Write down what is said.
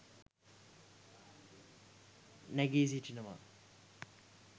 නැගී සිටිනවා